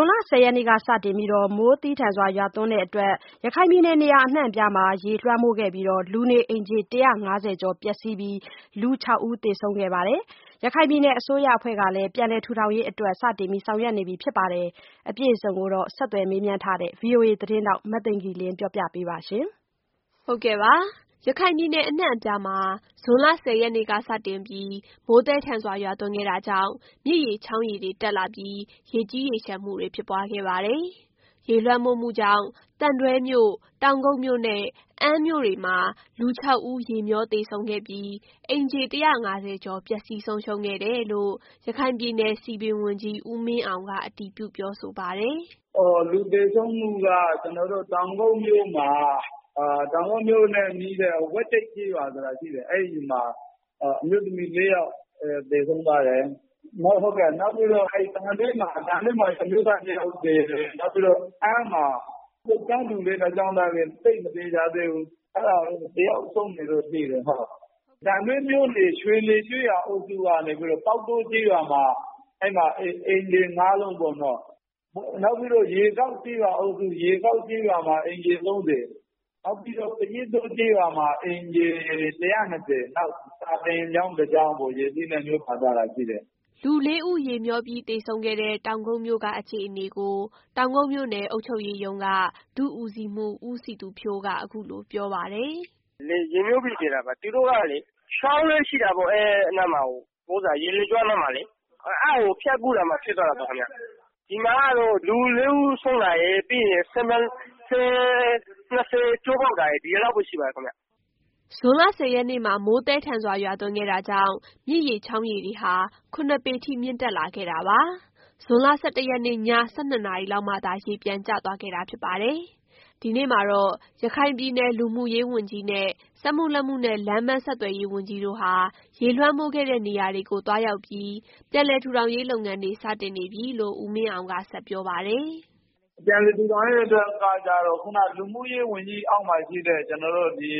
ွန်လ ၁၀ ရက်နေ့ကစတင်ပြီး မိုးသည်းထန်စွာရွာသွန်းမှုကြောင့် ရခိုင်ပြည်နယ်နေရာအနှံ့မှာ ရေလွှမ်းမိုးခဲ့ပြီးလူနေအိမ် ၁၅၀ ကျော် ပျက်စီးပြီးလူ ၆ ဦးသေဆုံးခဲ့ပါတယ်။ ပြည်နယ်အစိုးရအဖွဲ့ကလည်းပြန်လည်ထူထောင်ရေးအတွက် စတင်ဆောင်ရွက်နေပြီဖြစ်ပါတယ်။ အပြည့်အစုံကိုဆက်သွယ်မေးမြန်းထားတဲ့ VOA သတင်းထောက် မသိင်္ဂ ီလင်းကပြောပြပေးပါမယ်။ ရခိုင်ပြည်နယ် အနှံ့အပြားမှာဇွန်လ ၁၀ ရက်နေ့ကစတင်ပြီးမိုးသည်းထန်စွာရွာသွန်းခဲ့တာကြောင့် မြစ်ရေချောင်းရေတွေ တက်လာပြီးရေကြီးရေးလျှံမှုတွေဖြစ်ပွားခဲ့ပါတယ်။ ရေလွှမ်းမိုးမှုကြောင့် သံတွဲမြို့၊ တောင်ကုတ်မြို့နဲ့ အမ်းမြို့တွေမှာလူ ၆ ဦးရေမြောသေဆုံးခဲ့ပြီးအိမ်ခြေ ၁၅၀ ကျော် ပျက်စီးဆုံးရှုံးခဲ့တယ်လို့ ရခိုင်ပြည်နယ် စည်ပင်ဝန်ကြီးဦးမင်းအောင်ကအတည်ပြု ပြောဆိုပါတယ်။ “လူသေဆုံးမူက ကျနော်တို့ တောင်ကုတ်မြို့မှာ ၊ တောင်ကုတ်မြို့နဲ့နီးတဲ့ ဝက်ကျိတ် ကျေးရွာဆိုတာရှိတယ်။ အဲဒီမှာ အမျိုးသမီး ၄ ယောက်သေဆုံးသွားတယ်။ နောက် သံတွဲမှာ အမျိုးသား ၂ ယောက်သေတယ်။ နောက်ပြီးတော့ အမ်းမြို့မှာတော့ သိပ်မသေချာသေးဘူး ၁ ယောက်ဆုံးတယ်လို့သိတယ်။ သံတွဲမြို့နယ် ရွှေလည်ကျေးရွာအုပ်စု ကနေပြီးတော့ ပေါက်တိုးကျေးရွာမှာ အဲဒီမှာ အိမ်ခြေ ၅ လုံးပေါ့နော်။ နောက်ပြီးတော့ ရေကျောက်ကျေးရွာအုပ်စု မှာ အိမ်ခြေ ၃၀ နောက်ပြီးတော့ ပယင်းတိုးကျေးရွာမှာ အိမ်ခြေ ၁၂၀ နောက် စာသင်ကျောင်း ၁ ကျောင်း ရေစီးထဲ မြောပါသွားတာရှိတယ်။” လူ ၄ ဦးရေမြောပြီးသေဆုံးခဲ့တဲ့ တောင်ကုတ်မြို့က အခြေအနေကိုတောင်ကုတ်မြို့နယ် အုပ်ချုပ်ရေးရုံးက ဒု-ဦးစီးမှူး ဦးစည်သူဖြိုးကအခုလိုပြောပါတယ်။ “ရေမြောပြီးသေတာပါ။ သူတို့ကလေ ချောင်းရှိတယ်ပေါ့ အဲဒီရေလွှတ်ကြော နားမှာလေ အဲဒါကို ဖြတ်ကူးရင်းနဲ့ဖြစ်သွားတာပေါ့။ ဒီမှာကတော့ လူ ၄ ဦးဆုံးတာရယ်၊ ဆည် ၂ ဆည် ကျိုးပေါက်သွားတာရယ် ဒီလောက်ပဲရှိပါတယ်ခင်ဗျ။” ဇွန်လ ၁၀ ရက်နေ့မှာမိုးသည်းထန်စွာ ရွာသွန်းခဲ့တာကြောင့် မြစ်ရေချောင်းရေတွေ ဟာ ၇ ပေထိမြင့်တက်လာခဲ့တာပါ။ ဇွန်လ ၁၁ ရက်နေ့ ည ၁၂ နာရီလောက်မှသာရေပြန်ကျသွားခဲ့တာဖြစ်ပါတယ်။ ဒီနေ့မှာပဲရခိုင်ပြည်နယ် လူမှုရေးဝန်ကြီးနဲ့ စက်မှုလက်မှုနဲ့ လမ်းပန်းဆက်သွယ်ရေးဝန်ကြီးတို့ဟာရေလွှမ်းမိုးခဲ့တဲ့ နေရာတွေကိုသွားရောက်ပြီး ပြန်လည်ထူထောင်ရေးလုပ်ငန်းတွေ စတင်နေပြီလို့ ဦးမင်းအောင်ကပြောပါတယ်။ “ပြည်နည်ထူထောင်ရေးကကျတော့ ခုနက လူမှုရေးဝန်ကြီးအောက်မှာရှိတဲ့ ကျနော်တို့ ဒီ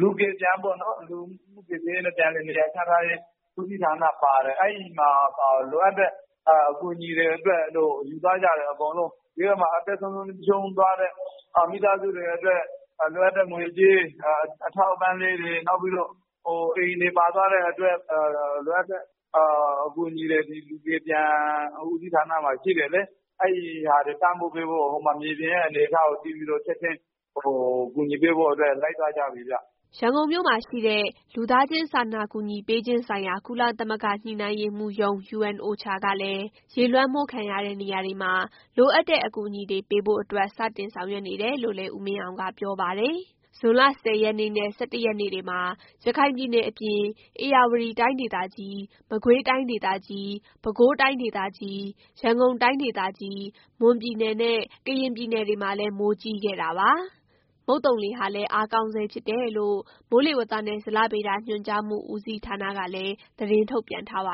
လူကယ်ပြန် ပေါ့နော် လူမှုကယ်ဆယ်ရေးနဲ့ ပြန်လည်နေရာချထားရေး ဦးစီးဌာနပါတယ်။ အဲဒီမှာ လိုအပ်တဲ့အကူအညီအတွက်တို့ လှူသွားကြတယ်အကုန်လုံး ။ ပြီးတော့မှ အသက်ဆုံးရူံးသွားတဲ့ မိသားစုတွေအတွက် လိုအပ်တဲ့ငွေကြေးအထောက်အပံ့လေးတွေ ၊ အိမ်တွေပါသွားတဲ့ အတွက် လိုအပ်တဲ့အကူအညီတွေ ဒီလူကယ်ပြန်ဦးစီးဌာနမှာရှိတယ်လေ။ အဲဒီဟာတွေ ကူညီပေးဖို့ မြေပြင်ရဲ့အနေအထားကို သိပြီးတော့ ချက်ချင်း ကူညီပေးဖို့အတွက် လိုက်သွားကြပြီခင်ဗျ ” ရန်ကုန်မှာရှိတဲ့လူသားချင်းစာနာကူညီပေးခြင်းဆိုင်ရာကုလသမဂ္ဂညှိနှိုင်းရေးမှူးရုံး UNOCHA ကလည်းရေလွှမ်းမိုးခံရတဲ့နေရာတွေမှာ လိုအပ်တဲ့အကူအညီတွေပေးဖို့အတွက် စတင်ဆောင်ရွက်နေတယ် လို့လည်းဦးမင်းအောင်ကပြောပါတယ်။ ဇွန်လ ၁၀ ရက်နေ့နဲ့ ၁၁ ရက်နေ့တွေမှာရခိုင်ပြည်နယ်အပြင် ဧရာဝတီတိုင်းဒေသကြီး၊ မကွေးတိုင်းဒေသကြီး၊ ပဲခူးတိုင်းဒေသကြီး၊ ရန်ကုန်တိုင်းဒေသကြီး၊ မွန်ပြည်နယ်နဲ့ ကရင်ပြည်နယ်တွေမှာလည်းမိုးကြီးခဲ့တာပါ။ မုတ်သုံလေဟာလည်းအားကောင်းဆဲဖြစ်တယ်လို့ မိုးလေဝသနဲ့ ဇလဗေဒညွှန်ကြားမှုဦးစီးဌာနက သတင်းထုတ်ပြန်ထားပ